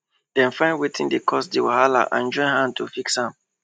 dem find wetin dey cause di wahala and join hand to fix am